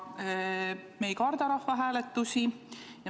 Ja me ei karda rahvahääletusi.